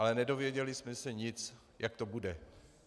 Ale nedověděli jsme se nic, jak to bude.